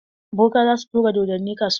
Boka za su turo dodonni kasuwa.